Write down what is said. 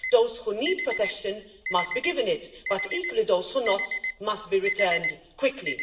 Those who need protection must be given it, but equally, those who do not must be returned quickly.